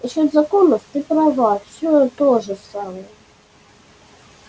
насчёт законов ты права все то же самое